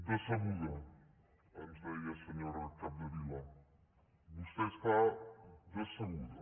decebuda ens deia senyora capdevila vostè està decebuda